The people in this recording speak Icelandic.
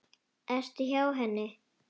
Ertu hjá henni?